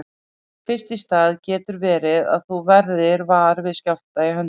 Fyrst í stað getur verið að þú verðir var við skjálfta í höndum.